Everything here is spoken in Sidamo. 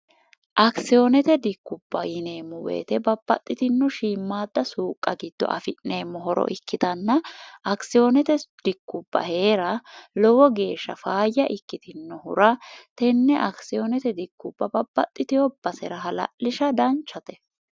akisiyoonete dikkubba yineemmo weyite babbaxxitinno shiimmaadda suuqqa giddo afi'neemmo horo ikkitanna akisiyoonete dikkubba hee'ra lowo geeshsha faayya ikkitinohura tenne akisiyoonete dikkubba babbaxxitiobbasera hla'lisha danchate